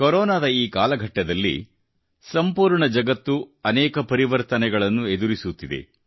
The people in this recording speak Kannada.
ಕೊರೊನಾದ ಈ ಕಾಲಘಟ್ಟದಲ್ಲಿ ಸಂಪೂರ್ಣ ಜಗತ್ತು ಅನೇಕ ಪರಿವರ್ತನೆಗಳನ್ನು ಎದುರಿಸುತ್ತಿದೆ